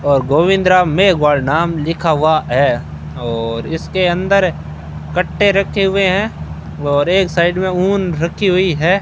और गोविंद राम मेघवार नाम लिखा हुआ है और इसके अंदर कट्टे रखे हुए हैं और एक साइड में ऊन रखी हुई है।